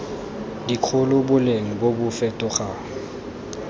dikgolo boleng bo bo fetogang